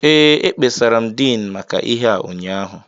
Ee, ekpesara m Din maka ihe a ụnyaahụ